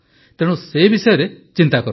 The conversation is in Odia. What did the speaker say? ତେଣୁ ସେ ବିଷୟରେ ଚିନ୍ତା କରନ୍ତୁ